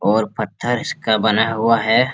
और पत्थर का बना हुआ है।